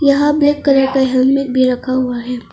यहां black colour का helmet भी रखा हुआ है।